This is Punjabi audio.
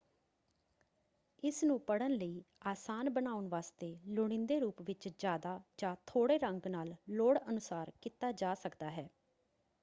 ਇਸਨੂੰ ਪੜ੍ਹਨ ਲਈ ਆਸਾਨ ਬਣਾਉਣ ਵਾਸਤੇ ਲੁੜੀਂਦੇ ਰੂਪ ਵਿੱਚ ਜ਼ਿਆਦਾ ਜਾਂ ਥੋੜੇ ਰੰਗ ਨਾਲ ਲੋੜ ਅਨੁਸਾਰ ਕੀਤਾ ਜਾ ਸਕਦਾ ਹੈ।